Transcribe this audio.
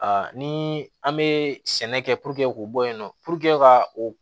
ni an be sɛnɛ kɛ k'o bɔ yen nɔ puruke ka o